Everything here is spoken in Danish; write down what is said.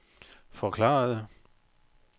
forklarede